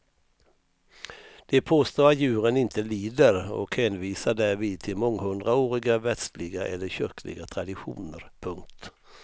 De påstår att djuren inte lider och hänvisar till månghundraåriga världsliga eller kyrkliga traditioner. punkt